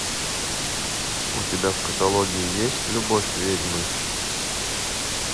у тебя в каталоге есть любовь ведьмы